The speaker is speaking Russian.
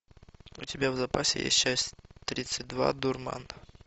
у тебя в запасе есть часть тридцать два дурман